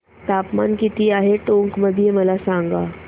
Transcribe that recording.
तापमान किती आहे टोंक मध्ये मला सांगा